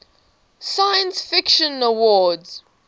science fiction awards